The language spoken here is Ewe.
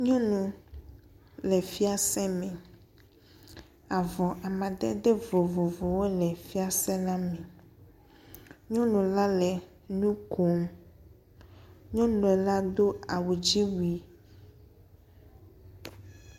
Nyɔnu le fiase me, avɔ amadede vovovowo le fiase la me. Nyɔnu la le nu kom. Nyɔnu la do awu dzi wui.